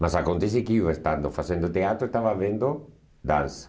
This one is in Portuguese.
Mas acontece que eu, estando fazendo teatro, estava vendo dança.